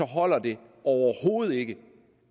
holder det overhovedet ikke